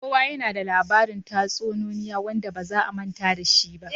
Kowa yana da labarin tatsuniyoyi wanda ba za a manta da shi ba.